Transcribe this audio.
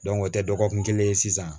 o tɛ dɔgɔkun kelen ye sisan